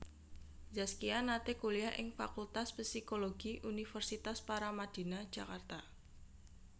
Zaskia nate kuliah ing Fakultas Psikologi Universitas Paramadina Jakarta